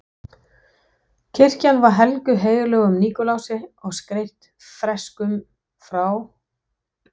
Kirkjan var helguð heilögum Nikulási og skreytt freskum frá